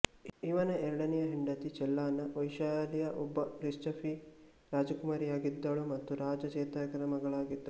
ಇವನ ಎರಡನೇ ಹೆಂಡತಿ ಚೆಲ್ಲನಾ ವೈಶಾಲಿಯ ಒಬ್ಬ ಲಿಚ್ಛವಿ ರಾಜಕುಮಾರಿಯಾಗಿದ್ದಳು ಮತ್ತು ರಾಜ ಚೇತಕನ ಮಗಳಾಗಿದ್ದಳು